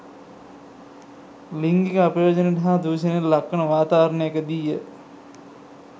ලිංගික අපයෝජනයට හා දුෂණයට ලක්වන වාතාවරණයකදීය.